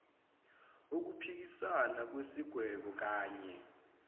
ukuphikissana nesigwebo knye